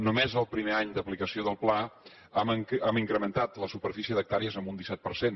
només en el primer any d’aplicació del pla hem incrementat la superfície d’hectàrees amb un disset per cent